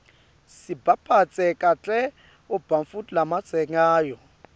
sibaphatse kahle ebantfu labatsengako